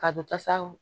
Ka don tasa